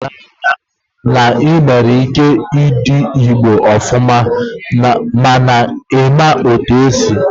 O juru m anya na i nwere ike i dee Igbo ofuma mana na ị nweghị ike ịsụ ya